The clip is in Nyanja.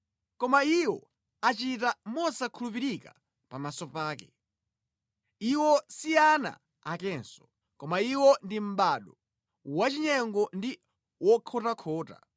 Koma iwo achita mosakhulupirika pamaso pake, iwo si ana akenso, koma iwo ndi mʼbado wachinyengo ndi wokhotakhota.